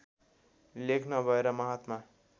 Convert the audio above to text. लेख नभएर महात्मा